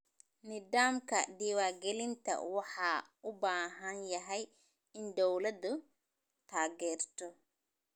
Nidaamka diwaan gelinta waxa uu u baahan yahay in dawladdu taageerto.